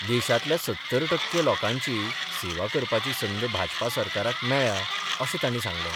देशातल्या सत्तर टक्के लोकांची सेवा करपाची संद भाजपा सरकारांक मेळ्या अशें ताणी सांगलें.